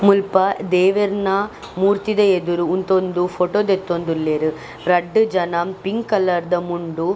ಮುಲ್ಪ ದೇವೆರ್ನ ಮೂರ್ತಿದ ಎದುರು ಉಂತೊಂದು ಫೊಟೊ ದೆತ್ತೊಂದುಲ್ಲೆರ್ ರಡ್ಡ್ ಜನ ಪಿಂಕ್ ಕಲರ್ದ ಮುಂಡು.